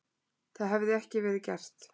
Það hefði ekki verið gert